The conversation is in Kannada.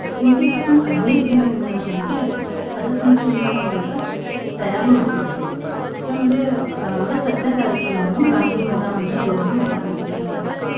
ಹಿಂದಿನ್ ಹದ್ನೈದ್ ದಿನದಿಂದಾನೂ ನಮ್ಗೆ ಪಥಸಂಚಲ್ನಗಂತ ತಯಾರಿ ಮಾಡ್ತಿದ್ರ್. ನಮ್ಗ ಆ August ಹತ್ತ್ನೆ ತಾರೀಕಿಂದಾನು ಗಾಂಧೀ ಮೈದಾನ ಅಂತ ದೊಡ್ಡ್ ಮೈದಾನ ಐತ್ರೀ ನಮ್ಮೂರಾಗ.